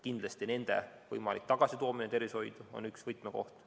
Kindlasti on nende võimalik tagasitoomine tervishoidu üks võtmekohti.